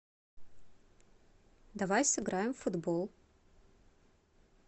давай сыграем в футбол